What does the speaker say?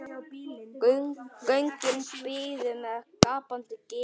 Göngin biðu með gapandi ginið.